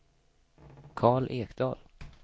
Karl Ekdahl